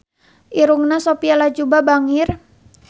Irungna Sophia Latjuba bangir